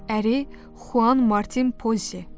Əri Xoan Martin Pozi.